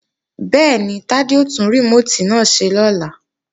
Bẹ́ẹ̀ni, Tádé ó tún rìmóòtì náà ṣe lọ́la